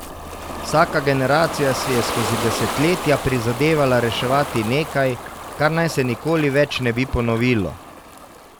Vsaka generacija si je skozi desetletja prizadevala reševati nekaj, kar naj se nikoli več ne bi ponovilo.